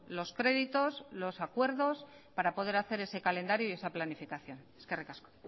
los créditos los acuerdos para poder hacer ese calendario y esa planificación eskerrik asko